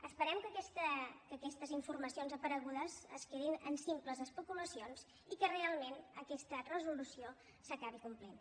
esperem que aquestes informacions aparegudes es quedin en simples especulacions i que realment aquesta resolució s’acabi complint